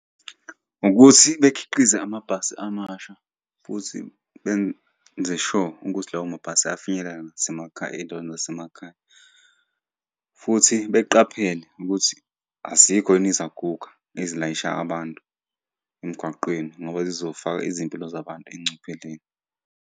Ukuthi bekhiqize amabhasi amasha futhi benze sure ukuthi lawo mabhasi ayafinyelela nasemakhaya, ey'ndaweni zasemakhaya futhi beqaphele ukuthi azikho yini izaguga ezilayisha abantu emgwaqeni ngoba zizofaka izimpilo zabantu engcupheleni.